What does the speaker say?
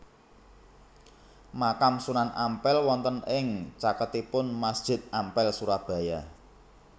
Makam Sunan Ampel wonten ing caketipun Masjid Ampel Surabaya